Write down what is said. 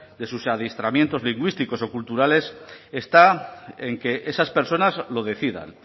de sus adiestramientos lingüísticos o culturales está en que esas personas lo decidan